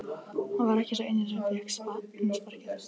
Hann var ekki sá eini sem fékk sparkið.